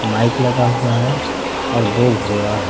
Mic लगा हुआ है और दो घोड़ा है।